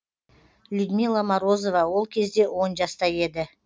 людмила морозова ол кезде он жаста еді